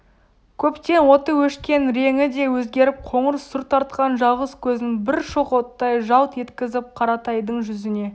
көптен оты өшкен реңі де өзгеріп қоңыр сұр тартқан жалғыз көзін бір шоқ оттай жалт еткізіп қаратайдың жүзіне